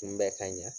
Kunbɛ ka ɲa